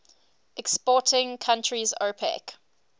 exporting countries opec